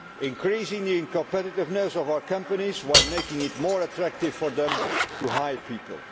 Increasing the competitiveness of our companies, while making it more attractive for them to hire people.